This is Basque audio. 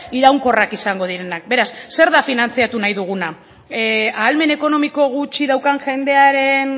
iraunkorrak izango direnak beraz zer da finantziatu nahi duguna ahalmen ekonomiko gutxi daukan jendearen